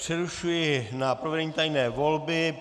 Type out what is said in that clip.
Přerušuji na provedení tajné volby.